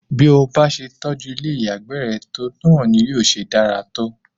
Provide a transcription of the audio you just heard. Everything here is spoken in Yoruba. Bí o bá se tọjú ilé ìyàgbẹ́ re tó, náà ni yóò ṣe dára tó.